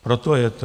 Proto je to.